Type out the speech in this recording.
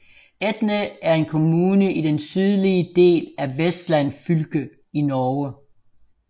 Etne er en kommune i den sydlige del af Vestland fylke i Norge